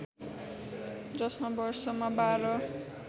जसमा वर्षमा बाह्र